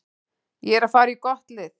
Ég er að fara í gott lið.